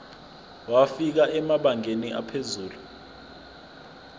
wafika emabangeni aphezulu